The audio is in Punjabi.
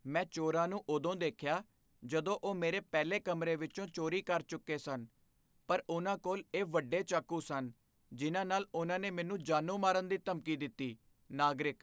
ਮੈਂ ਚੋਰਾਂ ਨੂੰ ਉਦੋਂ ਦੇਖਿਆ ਜਦੋਂ ਉਹ ਮੇਰੇ ਪਹਿਲੇ ਕਮਰੇ ਵਿੱਚੋਂ ਚੋਰੀ ਕਰ ਚੁੱਕੇ ਸਨ, ਪਰ ਉਨ੍ਹਾਂ ਕੋਲ ਇਹ ਵੱਡੇ ਚਾਕੂ ਸਨ ਜਿਨ੍ਹਾਂ ਨਾਲ ਉਨ੍ਹਾਂ ਨੇ ਮੈਨੂੰ ਜਾਨੋਂ ਮਾਰਨ ਦੀ ਧਮਕੀ ਦਿੱਤੀ ਨਾਗਰਿਕ